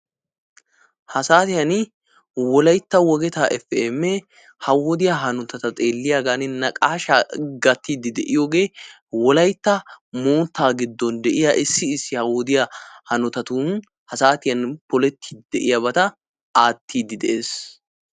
Ha saatiyan wolaytta wogeta Efi Eme ha wodiyaa hanotata xeelliyagan naqaashshaa gattidi de'iyoogee wolaytta moottaa gidon de'iya issi issi ha wodiya hanotatun ha saatiyan polettidi de'iyabatta aattidi de'ees.